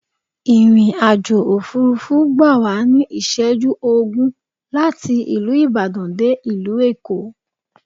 ìrìn-àjò òfurufú gbàwá ní iṣẹju ogún láti ìlú ìbàdàn dé ìlú èkó